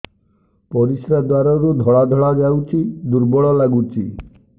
ପରିଶ୍ରା ଦ୍ୱାର ରୁ ଧଳା ଧଳା ଯାଉଚି ଦୁର୍ବଳ ଲାଗୁଚି